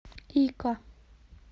ика